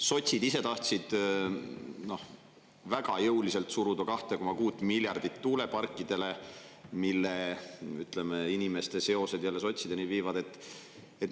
Sotsid ise tahtsid väga jõuliselt suruda 2,6 miljardit tuuleparkidele, millega inimeste seosed jälle sotsideni viivad.